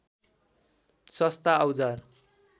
सस्ता औजार